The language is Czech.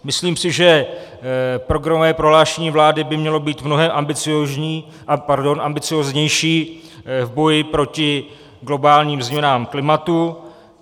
Myslím si, že programové prohlášení vlády by mělo být mnohem ambicióznější v boji proti globálním změnám klimatu.